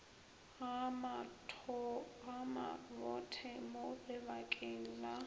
ga mabothe mo lebakeng la